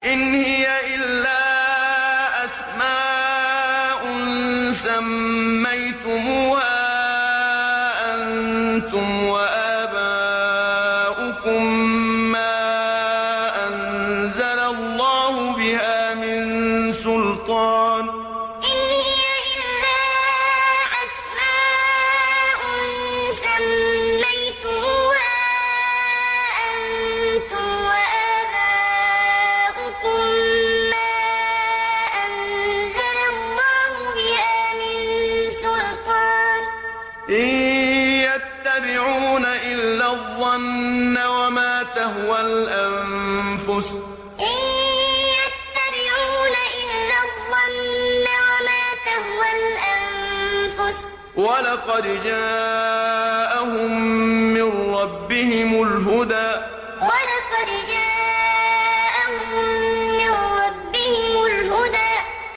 إِنْ هِيَ إِلَّا أَسْمَاءٌ سَمَّيْتُمُوهَا أَنتُمْ وَآبَاؤُكُم مَّا أَنزَلَ اللَّهُ بِهَا مِن سُلْطَانٍ ۚ إِن يَتَّبِعُونَ إِلَّا الظَّنَّ وَمَا تَهْوَى الْأَنفُسُ ۖ وَلَقَدْ جَاءَهُم مِّن رَّبِّهِمُ الْهُدَىٰ إِنْ هِيَ إِلَّا أَسْمَاءٌ سَمَّيْتُمُوهَا أَنتُمْ وَآبَاؤُكُم مَّا أَنزَلَ اللَّهُ بِهَا مِن سُلْطَانٍ ۚ إِن يَتَّبِعُونَ إِلَّا الظَّنَّ وَمَا تَهْوَى الْأَنفُسُ ۖ وَلَقَدْ جَاءَهُم مِّن رَّبِّهِمُ الْهُدَىٰ